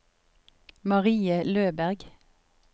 Marie Løberg